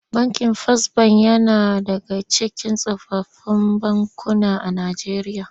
Bankin Fas Bank yana daga cikin tsofaffin bankuna a Najeriya.